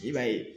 I b'a ye